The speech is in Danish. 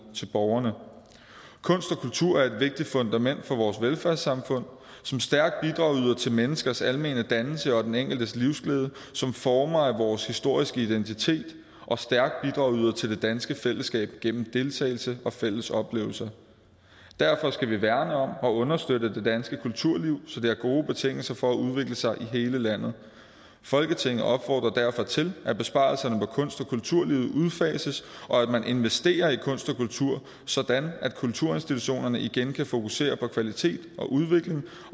til borgerne kunst og kultur er et vigtigt fundament for vores velfærdssamfund som stærk bidragyder til menneskers almene dannelse og den enkeltes livsglæde som former af vores historiske identitet og stærk bidragyder til det danske fællesskab gennem deltagelse og fælles oplevelser derfor skal vi værne om og understøtte det danske kulturliv så det har gode betingelser for at udvikle sig i hele landet folketinget opfordrer derfor til at besparelserne på kunst og kulturlivet udfases og at man investerer i kunst og kultur sådan at kulturinstitutionerne igen kan fokusere på kvalitet og udvikling